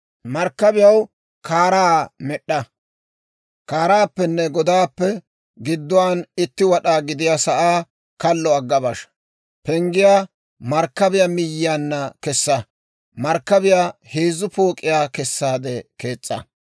markkabiyaw kaaraa med'd'a; kaaraappenne godaappe gidduwaan itti wad'aa gidiyaa sa'aa kallo agga basha; penggiyaa markkabiyaw miyiyaanna kessa; markkabiyaa heezzu pook'iyaa kessaade kees's'a.